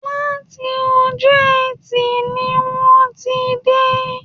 Láti ọjọ́ ẹtì ni wọ́n ti dé